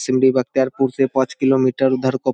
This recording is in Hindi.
बख्तियारपुर से पांच किलो मीटर उधर को --